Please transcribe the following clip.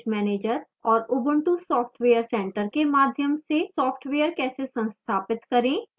synaptic package manager और ubuntu software center के माध्यम से सॉफ्टवेयर कैसे संस्थापित करें